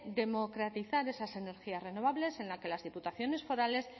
democratizar esas energías renovables en la que las diputaciones forales